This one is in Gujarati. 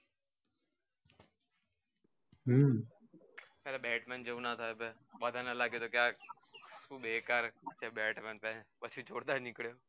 હમ આલા batman જેવુ ના થાય બધા ને લાગે કે આજ બેકાર છે batman પછી ખોટા નિકડીએ